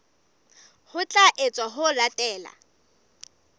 ho tla etswa ho latela